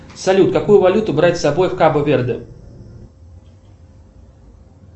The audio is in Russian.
салют какую валюту брать с собой в кабо верде